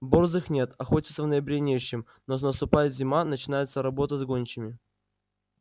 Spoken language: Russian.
борзых нет охотиться в ноябре не с чем но наступает зима начинается работа с гончими